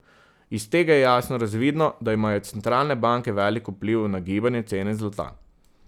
Iz tega je jasno razvidno, da imajo centralne banke velik vpliv na gibanje cene zlata.